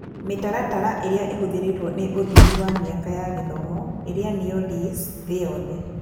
Mĩtaratara ĩrĩa ĩhũthĩrĩtwo nĩ ũthimi wa mĩaka ya gĩthomo (LAYS) thĩ yothe.